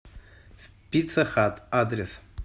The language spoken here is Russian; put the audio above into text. пицца хат адрес